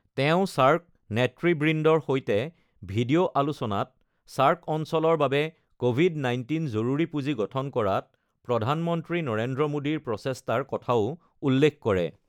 তেওঁ ছাৰ্ক নেতৃবৃন্দৰ সৈতে ভিডিঅ' আলোচনাত ছাৰ্ক অঞ্চলৰ বাবে ক'ভিড ১৯ জৰুৰী পূঁজি গঠন কৰাত প্ৰধানমন্ত্ৰী নৰেন্দ্ৰ মোদীৰ প্ৰচেষ্টাৰ কথাও উল্লেখ কৰে।